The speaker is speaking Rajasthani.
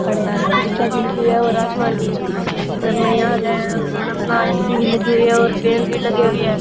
खड़े है और आसमान भी रस्सी भी लगी हुई है और लगी हुई है।